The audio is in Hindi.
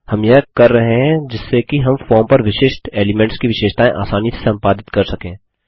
हम यह कर रहे हैं जिससे कि हम फॉर्म पर विशिष्ट एलीमेंट्स की विशेषताएँ आसानी से सम्पादित कर सकें